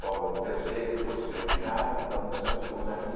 Cobra de um terceiro, depois fizemos ginástica, depois almoçamos e estamos aqui.